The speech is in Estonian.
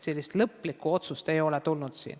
Lõplikku otsust ei ole tulnud.